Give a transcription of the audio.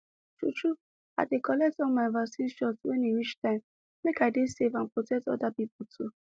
true true i dey collect all my vaccine shot when e reach time make i dey safe and protect other people too